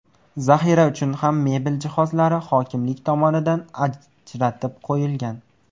Zaxira uchun ham mebel jihozlari hokimlik tomonidan ajratib qo‘yilgan.